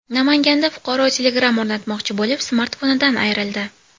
Namanganda fuqaro Telegram o‘rnatmoqchi bo‘lib, smartfonidan ayrildi.